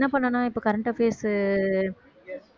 என்ன பண்ணனும் இப்ப current affairs உ